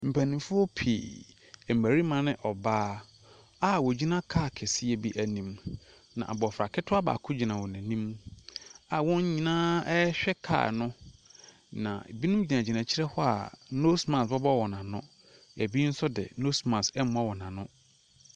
Mpanimfoɔ pii, mmarimane ɔbaa a wɔgyina kaa kɛseɛ bi anim. Na abɔfra ketewa baako gyina wɔn anim a wɔn nyinaa rehwɛ kaa no. Na binom gyinagyina akyire hɔ a nose mask bobɔ wɔn ano. Binom nso deɛ nose mmɔ wɔn ano.